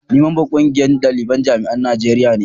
ni mamban ƙungiyar dalibin jami'an najeriya ne